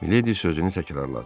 Miledi sözünü təkrarladı.